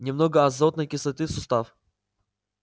немного азотной кислоты в сустав